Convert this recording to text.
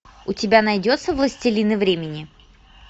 у тебя найдется властелины времени